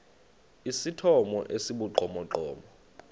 esithomo esi sibugqomogqomo